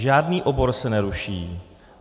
Žádný obor se neruší.